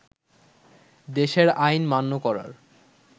দেশের আইন মান্য করার